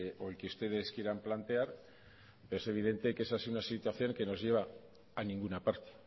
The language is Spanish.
o el que ustedes quieran plantear pero es evidente que esa es una situación que nos lleva a ninguna parte